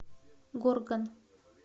горган